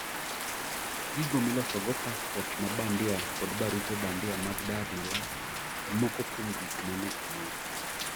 Gigo milosogo paspot ma bandia kod barupe bandia mag dar Malasi,e moko kuom gik mane omaki